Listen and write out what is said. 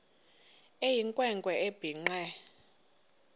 eyinkwe nkwe ebhinqe